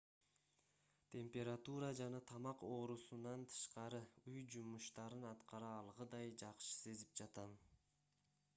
температура жана тамак оорусунан тышкары үй жумуштарын аткара алгыдай жакшы сезип жатам